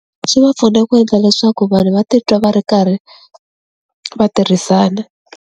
Swi va pfuna ku endla leswaku vanhu va titwa va ri karhi va tirhisana.